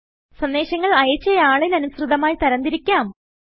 സന്ദേശങ്ങൾ അയച്ച ആളിന് അനുസൃതമായി തരംതിരിക്കാം